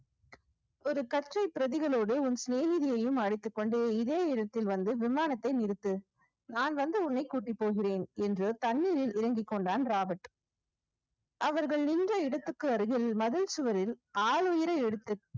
ஒரு கற்றை பிரதிகளோடு உன் சிநேகிதியையும் அழைத்துக் கொண்டு இதே இடத்தில் வந்து விமானத்தை நிறுத்து நான் வந்து உன்னை கூட்டிப் போகிறேன். என்று தண்ணீரில் இறங்கிக் கொண்டான் ராபர்ட் அவர்கள் நின்ற இடத்துக்கு அருகில் மதில் சுவரில் ஆள் எடுத்து